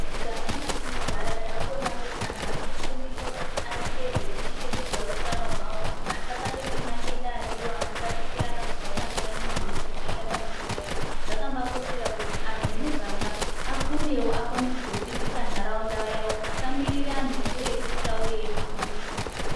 Muganga mwatinogara takuona kuti antu anofundiswe kuti aite zvekuchengetedza utano hwawo asabatwa nemadenda ariyo anotapukirana kubva pane munhu umwe eyienda pane umweni. Zvakambakoshera kuti angu emuganga afundewo akone kuzodzidzisa ntaraunda asamirira anhu ekuretu auye eitifundisa.